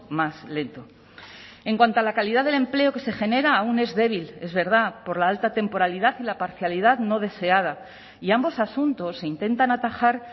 más lento en cuanto a la calidad del empleo que se genera aún es débil es verdad por la alta temporalidad y la parcialidad no deseada y ambos asuntos se intentan atajar